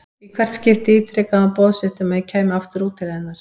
Í hvert skipti ítrekaði hún boð sitt um að ég kæmi aftur út til hennar.